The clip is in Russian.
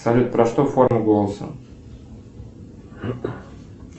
салют про что форма голоса